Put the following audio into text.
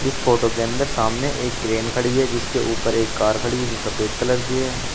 इस फोटो के अंदर सामने एक क्रेन खड़ी है जिसके ऊपर एक कार खड़ी है जो सफेद कलर की है।